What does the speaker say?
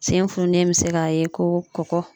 Sen fununnen be se k'a ye ko kɔkɔ